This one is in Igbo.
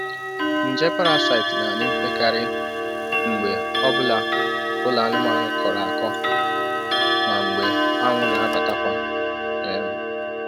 Nje parasaịtị na-adị mpekarị mgbe ọ bụla ụlọ anụmanụ kọọrọ akọ ma mgbe anwụ na-abatakwa. um